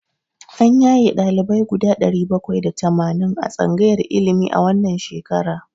An yaye ɗalibai guda ɗari bakwai da tamanin a tsangayar ilimi a wannan shekara.